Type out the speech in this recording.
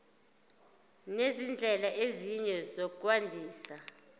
nezindlela ezinye zokwandisa